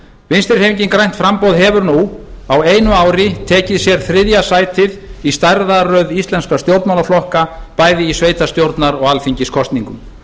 vinstri hreyfingin grænt framboð hefur nú á einu ári tekið sér þriðja sætið í stærðarröð íslenskra stjórnmálaflokka bæði í sveitarstjórnar og alþingiskosningum